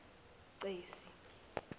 cesi